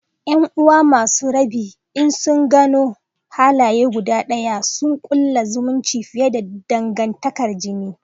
’Yan’uwa masu rabi in sun gano halaye guda ɗaya, suna kulla zumunci fiye da dangantakar jini.